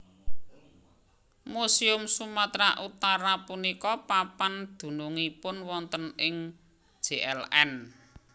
Muséum Sumatera Utara punika papan dunungipun wonten ing Jln